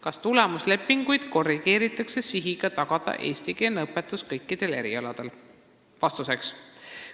Kas tulemuslepinguid korrigeeritakse sihiga tagada eestikeelne õpetus kõikidel erialadel?